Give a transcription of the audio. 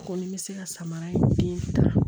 Kɔni bɛ se ka samara in fiɲɛ ta